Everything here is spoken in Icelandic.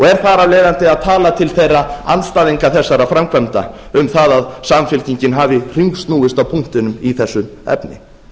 er þar af leiðandi að tala til þeirra andstæðinga þessara framkvæmda um það að samfylkingin hafi hringsnúist á punktinum í þessu efni